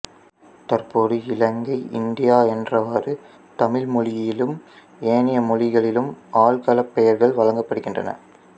தற்போது இலங்கை இந்தியா என்றவாறு தமிழ் மொழியிலும் ஏனைய மொழிகளிலும் ஆள்களப் பெயர்கள் வழங்கப்படுகின்றன